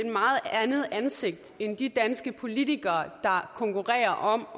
andet ansigt end af de danske politikere der konkurrerer om